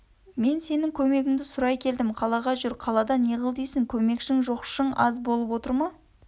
мен сенің көмегінді сұрай келдім қалаға жүр қалада неғыл дейсің көмекшің жоқшың аз болып отыр ма